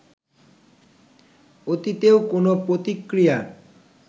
অতীতেও কোনো প্রতিক্রিয়া